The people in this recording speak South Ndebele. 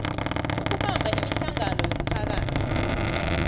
ukubamba imihlangano yomphakathi